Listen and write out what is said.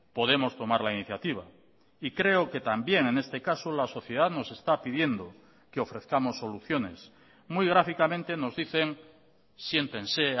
podemos tomar la iniciativa y creo que también en este caso la sociedad nos está pidiendo que ofrezcamos soluciones muy gráficamente nos dicen siéntense